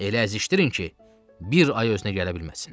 Elə əzişdirin ki, bir ay özünə gələ bilməsin.